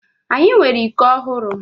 Anyị nwere iko ọhụrụ.